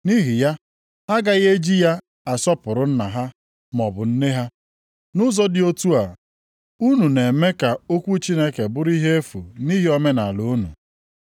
Nʼihi ya, ha agaghị eji ya asọpụrụ nna ha maọbụ nne ha. Nʼụzọ dị otu a, unu na-eme ka okwu Chineke bụrụ ihe efu nʼihi omenaala unu.